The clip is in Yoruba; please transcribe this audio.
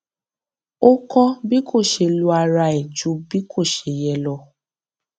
ó kọ bí kò ṣeé lo ara ẹ ju bí kò ṣe yẹ lọ